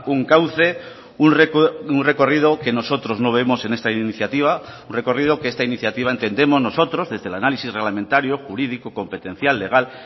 un cauce un recorrido que nosotros no vemos en esta iniciativa un recorrido que esta iniciativa entendemos nosotros desde el análisis reglamentario jurídico competencial legal